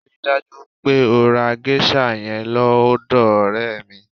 Rí i dájú pé o ra géṣà yẹn lọ́dọ̀ ọ̀rẹ́ mi!